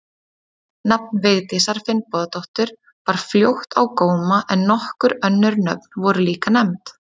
Nafn Vigdísar Finnbogadóttur bar fljótt á góma en nokkur önnur nöfn voru líka nefnd.